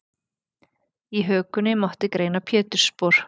Í hökunni mátti greina pétursspor.